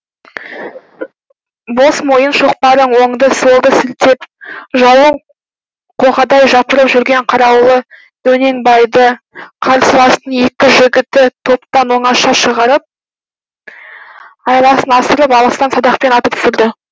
бос мойын шоқпарын оңды солды сілтеп жауын қоғадай жапырып жүрген қараулы дөненбайды қарсыластың екі жігіті топтан оңаша шығарып айласын асырып алыстан садақпен атып түсіреді